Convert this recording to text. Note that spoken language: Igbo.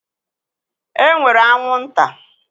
E nwere anwụ nta.